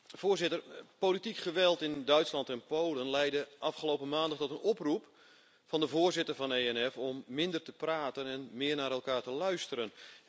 Voorzitter, politiek geweld in Duitsland en Polen leidde afgelopen maandag tot een oproep van de voorzitter van de ENF Fractie om minder te praten en meer naar elkaar te luisteren.